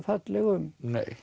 fallega um